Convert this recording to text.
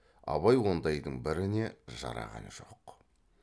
абай ондайдың біріне жараған жоқ